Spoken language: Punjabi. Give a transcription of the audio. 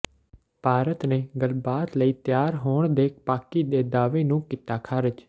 ਭਾਰਤ ਨੇ ਗੱਲਬਾਤ ਲਈ ਤਿਆਰ ਹੋਣ ਦੇ ਪਾਕਿ ਦੇ ਦਾਅਵੇ ਨੂੰ ਕੀਤਾ ਖਾਰਜ